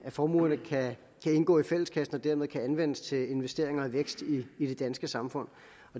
formuerne kan indgå i fælleskassen og dermed kan anvendes til investeringer i vækst i det danske samfund